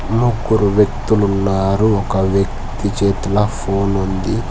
ముగ్గురు వ్యక్తులు ఉన్నారు ఒక వ్యక్తి చేతిలో ఫోన్ ఉంది.